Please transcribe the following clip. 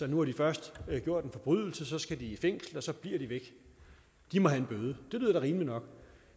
nu har de først gjort en forbrydelse og så skal de i fængsel og så bliver de væk de må have en bøde det lyder da rimeligt nok